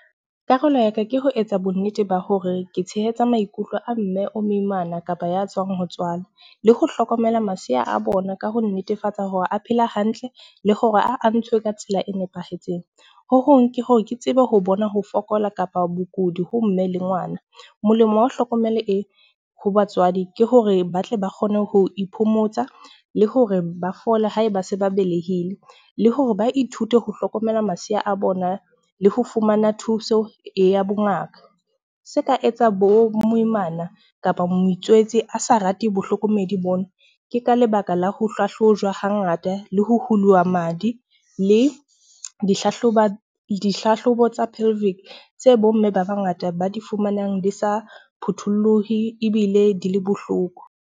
Karolo ya ka ke ho etsa bonnete ba hore ke tshehetsa maikutlo a mme o moimana kapa ya tswang ho tswala. Le ho hlokomela masea a bona ka ho netefatsa hore a phela hantle le hore a ntshwe ka tsela e nepahetseng. Ho hong ke hore ke tsebe ho bona ho fokola kapa bokudi ho mme le ngwana. Molemo wa ho hlokomele e, ho batswadi ke hore ba tle ba kgone ho iphomotsa le hore ba fole ha e ba se ba belehile. Le hore ba ithute ho hlokomela masea a bona le ho fumana thuso ya bongaka. Se ka etsa bo moimana kapa motswetse a sa rate bahlokomedi bona. Ke ka lebaka la ho hlahlojwa hangata le ho ho huluwa madi le dihlahlobo tsa tse bomme ba bangata ba di fumanang di sa phuthulluhe ebile di le bohloko.